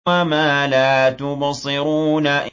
وَمَا لَا تُبْصِرُونَ